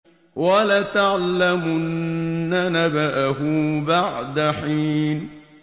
وَلَتَعْلَمُنَّ نَبَأَهُ بَعْدَ حِينٍ